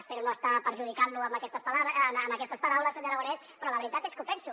espero no estar perjudicant lo amb aquestes paraules senyor aragonès però la veritat és que ho penso